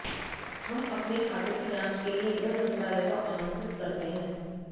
हम अपने खातों की जांच के लिए गृह मंत्रालय को आमंत्रित करते हैं